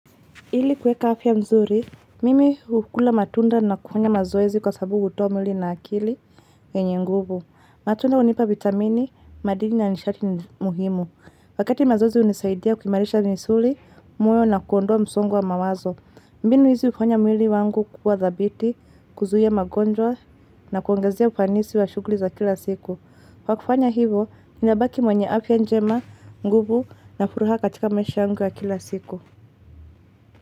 Ili kuweka afya mzuri, mimi hukula matunda na kufanya mazoezi kwa sababu hutoa mwili na akili yenye nguvu. Matunda hunipa vitamini, madini na nishati muhimu. Wakati mazoezi hunisaidia kuimarisha misuli, moyo na kuondoa msongo wa mawazo. Mbinu hizi hufanya mwili wangu kukua dhabiti, kuzuia magonjwa na kuongezea ufanisi wa shughuli za kila siku. Kwa kufanya hivo, ninabaki mwenye afya njema, nguvu na furaha katika maisha yangu ya kila siku.